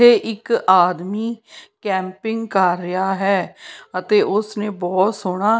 ਤੇ ਇੱਕ ਆਦਮੀ ਕੈਂਪਿੰਗ ਕਰ ਰਿਹਾ ਹੈ ਅਤੇ ਉਸ ਨੇ ਬਹੁਤ ਸੋਹਣਾ --